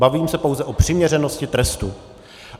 Bavím se pouze o přiměřenosti trestu.